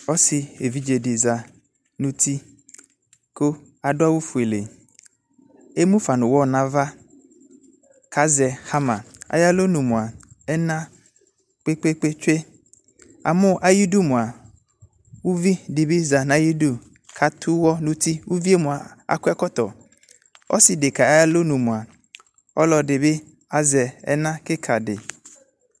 Ɔse evidze de za no uti ko ado awu fuule Emu fa no uwɔ no ava ko azɛ hamaAyelo nu moa ɛna kpekpe tsue Amu agedu moa, uvi moa de be za ayedu ko ato uwɔ no utiUvie akɔ ɛkɔtɔAse deka aydɔ nu moa ɔlɔde de be azɛ ɛna kika de